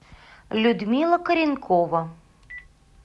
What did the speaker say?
людмила коренкова